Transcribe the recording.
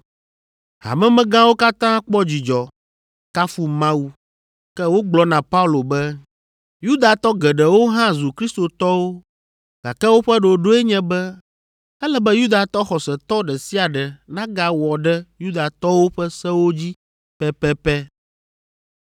Hamemegãwo katã kpɔ dzidzɔ, kafu Mawu, ke wogblɔ na Paulo be, “Yudatɔ geɖewo hã zu Kristotɔwo gake woƒe ɖoɖoe nye be ele be Yudatɔ xɔsetɔ ɖe sia ɖe nagawɔ ɖe Yudatɔwo ƒe sewo dzi pɛpɛpɛ.